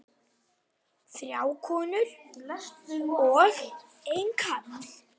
Þrjár konur og einn karl.